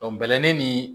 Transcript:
bɛlɛnin ni